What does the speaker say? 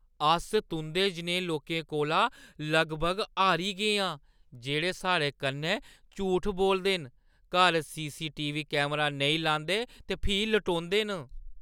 अस तुंʼदे जनेहे लोकें कोला लगभग हारी गे आं जेह्ड़े साढ़े कन्नै झूठ बोलदे न, घर सी.सी.टी.वी. कैमरा नेईं लांदे ते फ्ही लटोंदे न।